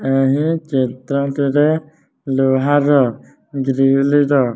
ଲୁହ ର ଗ୍ରୀଲ୍ ର --